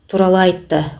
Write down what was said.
туралы айтты